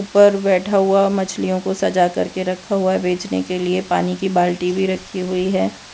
पर बैठा हुवा मछलियों को सजा करके रखा हुवा है बेचने के लिए। पानी की बाल्टी भीं रखीं हुई हैं।